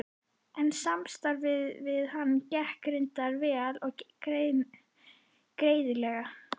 En samstarfið við hann gekk reyndar vel og greiðlega.